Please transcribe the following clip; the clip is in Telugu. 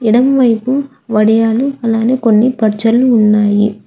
ఎడమవైపు వడియాలు అలానే కొన్ని పచ్చళ్ళు ఉన్నాయి.